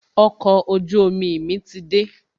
Okọ̀ ojú omi mi ti dé